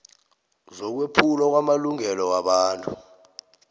zokwephulwa kwamalungelo wobuntu